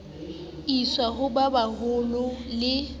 iswe ho ba baholo le